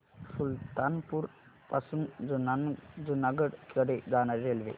सुल्तानपुर पासून जुनागढ कडे जाणारी रेल्वे